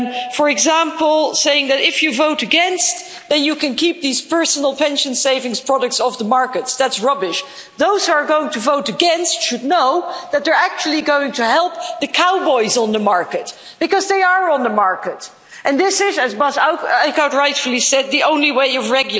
For example, saying that if you vote against then you can keep these personal pension savings products off the markets that's rubbish. Those who are going to vote against should know that they're actually going to help the cowboys on the market, because they are on the market, and this is, as Bas Eickhout rightfully said, the only way of regulating. Secondly, I heard that if you vote For', you're going to weaken the public pension systems rubbish!